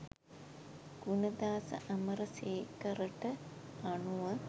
ගුණදාස අමරසේකරට අනුව